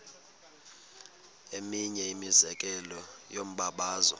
eminye imizekelo yombabazo